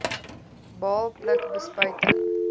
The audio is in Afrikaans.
baal pluk bespuiting